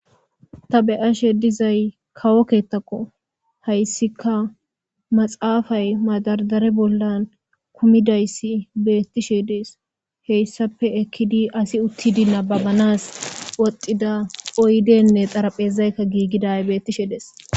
Ta be'ashshe dizay kawo keththekko hayissika maxxafay madardara bollan kumidays bettishshe dess hessappe ekidi asi uttidi nabbabanas woththida oydeynne xaraphphezay giggiday bettishe dess.